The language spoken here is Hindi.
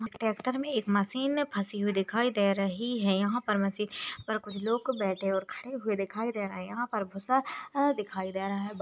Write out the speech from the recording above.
एक ट्रैक्टर में एक मशीन में फंसी हुई दिखाई दे रही है यहां पर मशीन पर कुछ लोग बैठे और खड़े दिखाई दे रहे है यहां पर भूसा अ दिखाई दे रहा है।